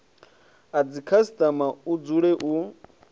a dzikhasitama hu dzule hu